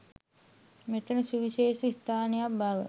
මෙතැන සුවිශේෂී ස්ථානයක් බව